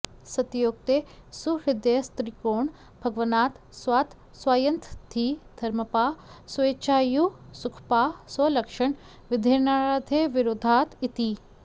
सत्योक्ते सुहृदस्त्रिकोण भवनात् स्वात् स्वान्त्यधी धर्मपाः स्वोच्चायुः सुखपाः स्वलक्षण विधेर्नान्यैर्विरोधाद् इति